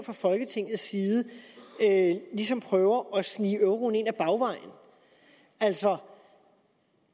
fra folketingets side ligesom prøver at snige euroen ind ad bagvejen altså